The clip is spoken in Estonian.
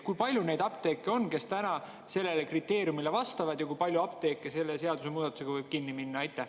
Kui palju neid apteeke on, mis sellele kriteeriumile vastavad, ja kui palju apteeke selle seadusemuudatuse tõttu võib kinni minna?